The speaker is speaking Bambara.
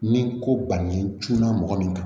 Ni ko bannen cunna mɔgɔ min kan